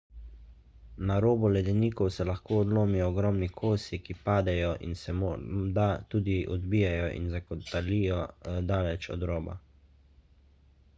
na robu ledenikov se lahko odlomijo ogromni kosi ki padejo in se morda tudi odbijejo ali zakotalijo daleč od roba